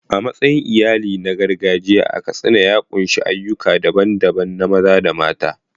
Matsayin iyali na gargajiya a Katsina ya ƙunshi ayyuka daban-daban na maza da mata.